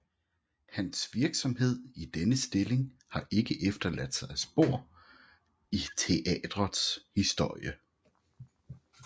Hans virksomhed i denne stilling har ikke efterladt sig spor i teatrets historie